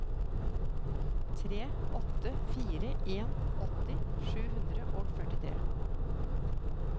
tre åtte fire en åtti sju hundre og førtitre